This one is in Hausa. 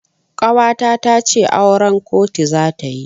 Ƙawata tace auran kotu zata yi.